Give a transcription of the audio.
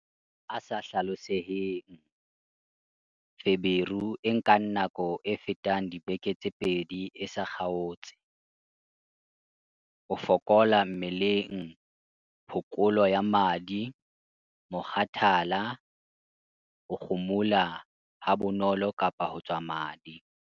A sa hlaloseheng- Feberu e nkang nako e fetang dibeke tse pedi e sa kgaotse, ho fokola mmeleng, phokolo ya madi, mokgathala, ho kgumuha habonolo kapa ho tswa madi.